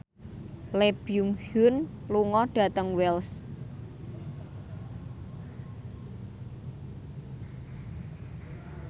Lee Byung Hun lunga dhateng Wells